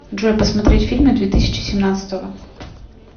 джой посмотреть фильмы две тысячи семнадцатого